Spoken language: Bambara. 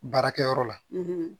Baarakɛyɔrɔ la